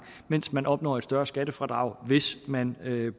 mens man opnår et større skattefradrag hvis man